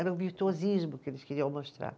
Era o virtuosismo que eles queriam mostrar.